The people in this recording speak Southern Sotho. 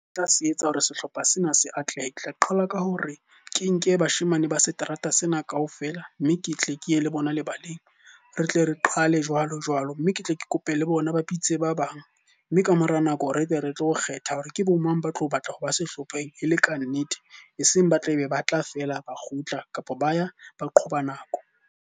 Ke tla se etsa hore sehlopha sena se atlehe, tla qala ka hore ke nke bashemane ba seterata sena ka ofela mme ke tle ke ye le bona lebaleng. Re tle re qale jwalo jwalo, mme ke tle ke kope le bona ba bitse ba bang. Mme ka mora nako re tle re tlo kgetha hore ke bo mang ba tlo batla ho ba sehlopheng e le ka nnete, e seng ba tlabe ba tla feela ba kgutla kapa ba ya ba qhoba nako.